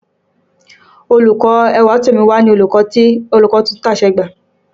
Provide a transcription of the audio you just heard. Olùkọ́ Ẹwàtómi ni olùkọ́ tuntun tí a ṣẹ̀ṣẹ̀ gbà.